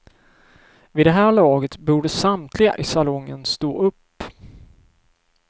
Vid det här laget borde samtliga i salongen stå upp.